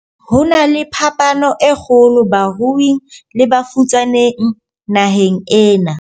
Ho na le phapano e kgolo baruing le bafutsaneng naheng ena.